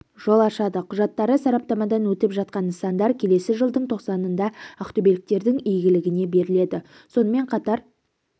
жол ашады құжаттары сараптамадан өтіп жатқан нысандар келесі жылдың тоқсанында ақтөбеліктердің игілігіне беріледі сонымен қатар